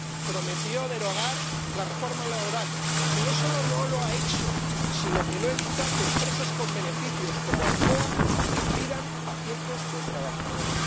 Prometió derogar la reforma laboral y no solo no lo ha hecho, sino que no evita que empresas con beneficios, como Alcoa, despidan a cientos de trabajadores.